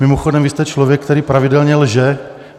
Mimochodem, vy jste člověk, který pravidelně lže.